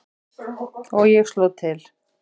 Og ég sló til.